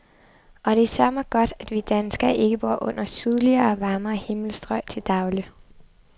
Og det er søreme godt, at vi danskere ikke bor under sydligere og varmere himmelstrøg til daglig.